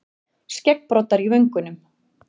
Skeggbroddar í vöngunum.